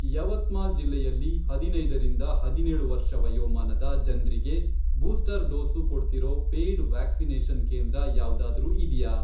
ಯವತ್ಮಾಲ್ ಜಿಲ್ಲೆಯಲ್ಲಿ, ಹದಿನೈದರಿಂದ ಹದಿನೇಳು ವರ್ಷ ವಯೋಮಾನದ ಜನ್ರಿಗೆ ಬೂಸ್ಟರ್ ಡೋಸು ಕೊಡ್ತಿರೋ ಪೇಯ್ಡ್ ವ್ಯಾಕ್ಸಿನೇಷನ್ ಕೇಂದ್ರ ಯಾವ್ದಾದ್ರೂ ಇದ್ಯಾ?